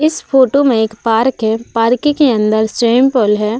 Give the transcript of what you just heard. इस फोटो में एक पार्क है। पार्क के अंदर स्विमिंग पूल है।